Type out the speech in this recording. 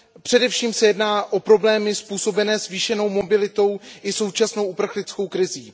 Především se jedná o problémy způsobené zvýšenou mobilitou i současnou uprchlickou krizí.